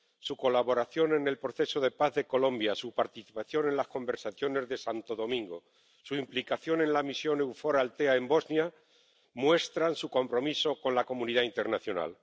Su colaboración en el proceso de paz de Colombia, su participación en las conversaciones de Santo Domingo y su implicación en la misión EUFOR Althea en Bosnia muestran su compromiso con la comunidad internacional.